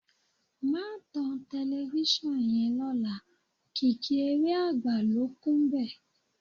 Má tan tẹlifíṣàn yẹn lọ́la, kìkì eré àgbà ló kúnbẹ̀